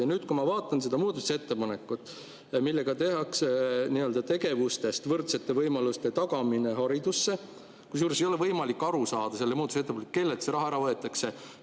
Ja nüüd ma vaatan seda muudatusettepanekut, millega tehakse muudatus tegevuses "Võrdsete võimaluste tagamine haridusse", kusjuures ei ole võimalik aru saada, kellelt see raha ära võetakse.